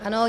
Ano.